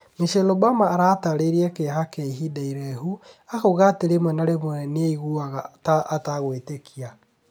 Michelle Obama atareria kiĩha kia ihinda iraihu. Akauga atĩ rĩmwe na rĩmwe nĩ aiguaga ata kuĩĩtekia.